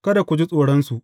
Kada ku ji tsoronsu.